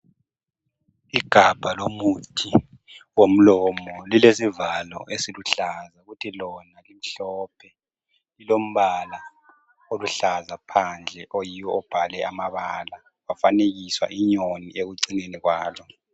igabha lomuthi womlomo lilesivalo esiluhlaza kuthi lona limhlophe lilombala oluhlaza phandle oyiwo obhale amabala kwafanekiswa inyoni ekucineni kwalo